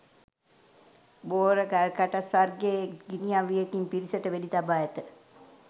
බෝර ගල්කටස් වර්ගයේ ගිනිඅවියකින් පිරිසට වෙඩිතබා ඇත